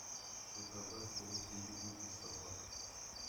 заказать корм педигри для собак